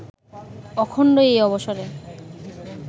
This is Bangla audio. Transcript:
অখণ্ড এই অবসরে